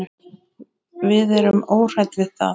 Við erum óhrædd við það.